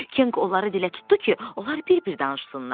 Kenq onları dilə tutdu ki, onlar bir-bir danışsınlar.